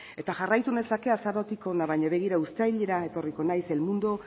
eta jarraitu nezake azarotik ona baina begira uztailera etorriko naiz el mundo